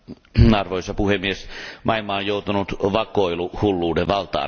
Arvoisa puhemies, maailma on joutunut vakoiluhulluuden valtaan.